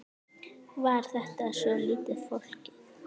Var þetta svolítið flókið?